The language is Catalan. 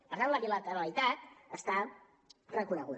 per tant la bilateralitat està reconeguda